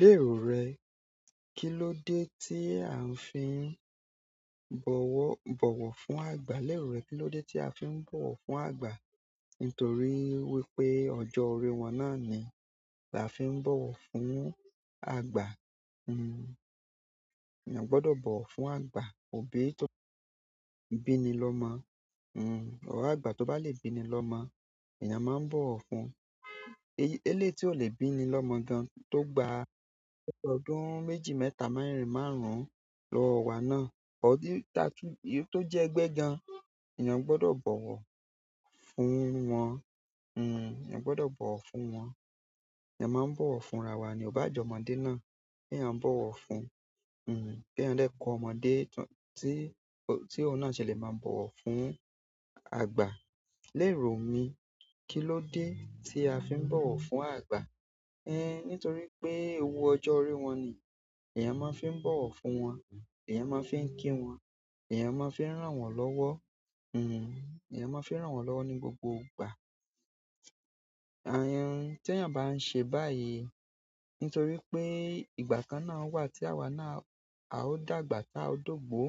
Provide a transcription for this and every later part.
Lérò rẹ, kilódé tí à ń fi ń bọ̀wọ̀, bọ̀wọ̀ fún àgbà? Lérò rẹ, kilódé tí a fi ń bọ̀wọ̀ fún àgbà? Nítorí wípé ọjọ́ orí wọn náà ni a fi ń bọ̀wọ̀ fún àgbà. Èèyàn gbọdọ̀ bọ̀wọ̀ fún àgbà, òbí tó bíni lọmọ or àgbà tó bá lè bíni lọmọ, èèyàn máa ń bọ̀wọ̀ fún. Eléyìí tí ò lè bíni lọmọ gan tó gba ọdún méjì, mẹ́ta, merin-in, márùn-ún lọwo wá náà, or dún-- tá- tó jẹ́ ẹgbẹ́ẹgbẹ́ gan, èèyàn gbọdọ̀ bọ̀wọ̀ fún wọn. Èèyàn gbọdọ̀ bọ̀wọ̀ fún wọn. Ẹ̀yàn máa ń bọ̀wọ̀ fún ara wa ní ọ o baa je ọmọdé náà, kí èèyàn bọ̀wọ̀ fún, kí eeyan de kọ ọmọdé tí, tí òun náà ṣe lè máa bọ̀wọ̀ fún àgbà. Lérò mi, kilódé tí a fi ń bọ̀wọ̀ fún àgbà? Nítorí pé ewú ọjọ́ orí wọn ni èèyàn máa ń fi bọ̀wọ̀ fún wọn, èèyàn máa ń fi ń kí wọn, èèyàn máa ń fi ń rán wọn lọ́wọ́. Eyan maa fi n ran won lowo ni gbogbo ìgbà. Àyan-- tí èèyàn bá ń ṣe báyìí nítorí pé ìgbà kan náà wà tí àwa náà a ó dàgbà, tá a dógbò,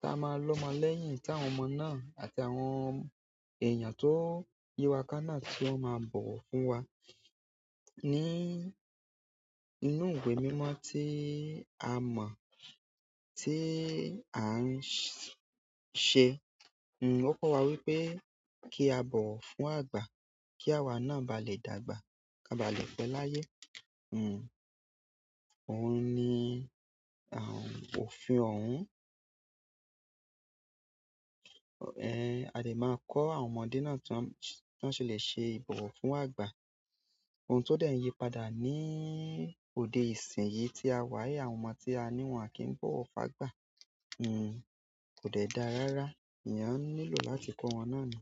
tá a máa lọ́mọ lẹ́yìn táwọn ọmọ náà àti àwọn èèyàn tó yíwa ká náà tí wọ́n máa bọ̀wọ̀ fún wa. Ní inú ìwé mímọ́ tí a mọ̀, tí à ń ṣẹ, ó kọ́ wa wípé kí a bọ̀wọ̀ fún àgbà kí àwa náà bá lè dàgbà, ká bá lè pẹ́ láyé. Òhun ni à ń-- òfin òhun. A dè máa kọ́ àwọn ọmọdé náà tí wọ́n, tí wọ́n ṣe lè ṣe ìbọ̀wọ̀ fún àgbà. Ohun tó dẹ̀ ń yípadà ní òde ìsìn yìí tí a wà yìí, àwọn ọmọ tí a ní wọn à kí ń bọ̀wọ̀ fún àgbà, kò dẹ̀ dáa rárá. Eyan nílò láti ko won náà ni.